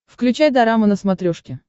включай дорама на смотрешке